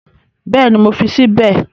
Bẹ́ẹ̀ni, mo fi sí bẹ̀